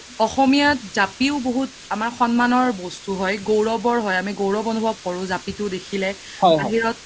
অসমীয়া জাপিও বহুত আমাৰ সন্মনৰ বস্তু হয় গৈৰব হয় আমি গৈৰব অনোভব কৰো জাপিতো দেখিলে বাহিৰত